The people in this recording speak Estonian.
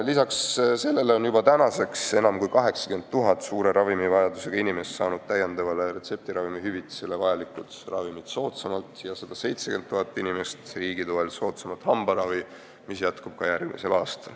Lisaks sellele on enam kui 80 000 suure ravimivajadusega inimest saanud tänu täiendavale retseptiravimi hüvitisele vajalikud ravimid soodsamalt ja 170 000 inimest on riigi toel saanud soodsamat hambaravi, mis jätkub ka järgmisel aastal.